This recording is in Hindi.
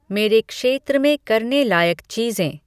मेरे क्षेत्र में करने लायक चीज़ें